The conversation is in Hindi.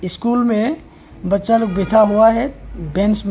स्कूल में बच्चा लोग बैठा हुआ है बेंच में।